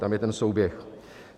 Tam je ten souběh.